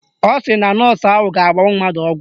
Ọ sị na nọọsụ ahụ ga-agbanwu mmadụ ọgwụ